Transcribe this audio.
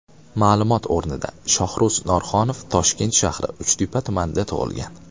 Ma’lumot o‘rnida, Shohruz Norxonov Toshkent shahri, Uchtepa tumanida tug‘ilgan.